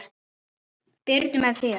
Birnu með þér.